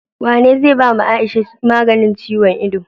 Wane zai bawa aisha maganin ciyon ido?